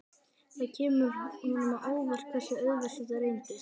Það kemur honum á óvart hversu auðvelt það reynist.